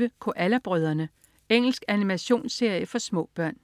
06.25 Koala brødrene. Engelsk animationsserie for små børn